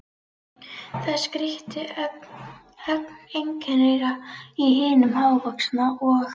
Það skríkti ögn einkennilega í hinum hávaxna, og